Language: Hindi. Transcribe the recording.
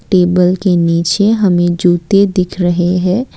टेबल के नीचे हमें जूते दिख रहे हैं।